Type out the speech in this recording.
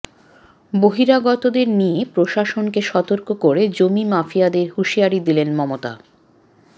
বহিরাগতদের নিয়ে প্রশাসনকে সতর্ক করে জমি মাফিয়াদের হুঁশিয়ারি দিলেন মমতা